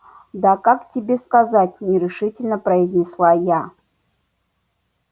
да как тебе сказать нерешительно произнесла я